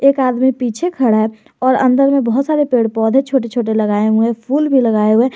एक आदमी पीछे खड़ा है और अंदर में बहुत सारे पेड़ पौधे छोटे छोटे लगाए हुए हैं फूल भी लगाए हुए हैं।